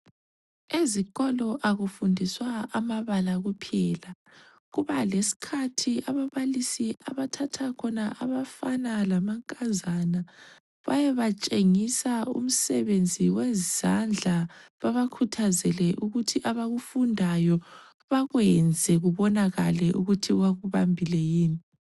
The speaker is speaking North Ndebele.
Ezikolo akufundiswa amabala kuphela. Kubalesikhathi ababalisi abathatha khona abafana lamankazana bayebatshengisa umsebenzi wezandla babakhuthazele ukuthi abakufundayo bakwenze kubonakale ukuthi bakubambile yini.